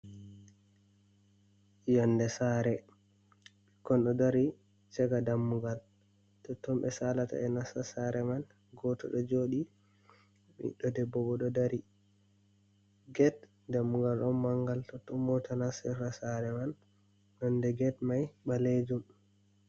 Yonde sare, bikkon ɗodari chaka dammugal, totton be salata be nasta sareman, goto do jodi, ɓiddo debbo bo do dari"gate dammugal on mangal totton mota nastirta sareman, nonde get mai ɓalejum.